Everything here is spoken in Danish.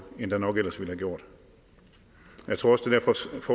end der nok ellers ville være gjort jeg tror